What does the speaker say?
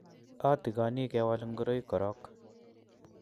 atikoni kewal ngoroik korok.